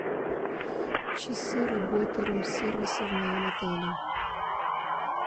часы работы рум сервиса в моем отеле